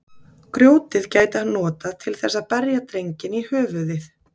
Grjótið gæti hann notað til þess að berja drenginn í höfuðið.